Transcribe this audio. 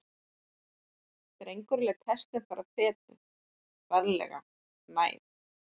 Drengurinn lét hestinn fara fetið, varlega, nær.